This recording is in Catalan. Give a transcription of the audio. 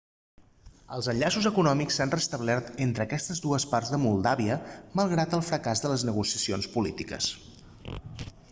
els enllaços econòmics s'han restablert entre aquestes dues parts de moldàvia malgrat el fracàs de les negociacions polítiques